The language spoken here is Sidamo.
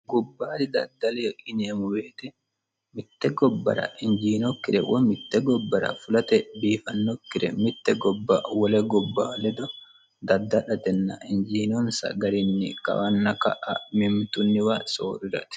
gobbaadi daddale yineemo woyiite mitte gobbara injiinokkire woy mitte gobbara fulate biifannokkire mitte gobba wole gobba ledo dadda'latenna injiinonsa garinni kawanna ka'a mimitunniwa soo'rirate